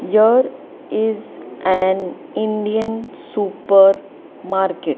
here is an indian super market.